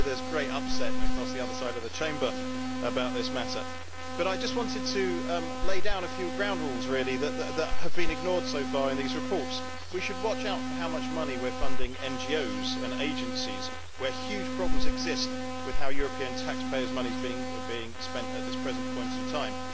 I know that there is great upset across the other side of the Chamber about this matter. I just wanted to lay down a few ground rules that have been ignored so far in these reports. We should watch out for how much money we are funding NGOs and agencies, where huge problems exist with how European taxpayers' money is being spent at this time.